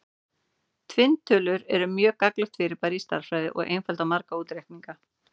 Tvinntölur eru mjög gagnlegt fyrirbæri í stærðfræði og einfalda marga útreikninga.